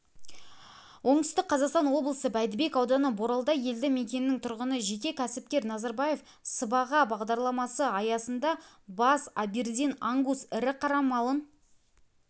оңтүстік қазақстан облысы бәйдібек ауданы боралдай елді мекенінің тұрғыны жеке кәсіпкер назарбаев сыбаға бадарламасы аясында бас абердин ангус ірі қара малын